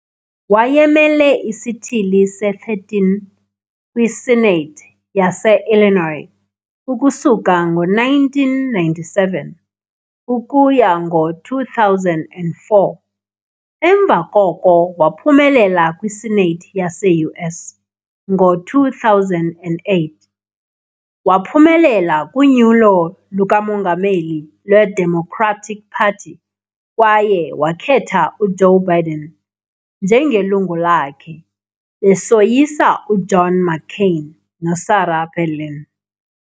Wayemele isithili se-13 kwi-Senate yase-Illinois ukusuka ngo-1997 ukuya ngo-2004, emva koko waphumelela kwiSenate yase-US. Ngo-2008, waphumelela kunyulo lukamongameli lweDemocratic Party kwaye wakhetha uJoe Biden njengelungu lakhe, besoyisa uJohn McCain noSarah Palin.